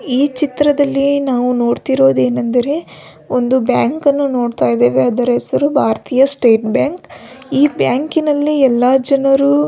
ಈ ಚಿತ್ರದಲ್ಲಿ ನಾವು ನೋಡತ್ತಿರುವುದೇನೆಂದರೆ ಒಂದು ಬ್ಯಾಂಕ್ ಅನ್ನು ನೋಡತ್ತಾ ಇದ್ದಿವಿ ಅದರ ಹೆಸರು ಬಾರತೀಯ ಸ್ಟೇಟ್ ಬ್ಯಾಂಕ್ ಈ ಬ್ಯಾಂಕಿನಲ್ಲಿ ಎಲ್ಲಾ ಜನರು.